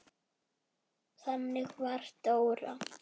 Þannig var Dóra.